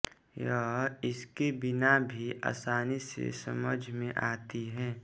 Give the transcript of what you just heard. यह इसके बिना भी आसानी से समझ में आती है